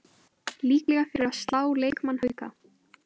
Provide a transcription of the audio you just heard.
Líklega fyrir að slá leikmann Hauka